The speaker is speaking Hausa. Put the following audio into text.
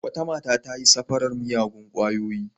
Wata mata ta yi safarar miyagun ƙwayoyi.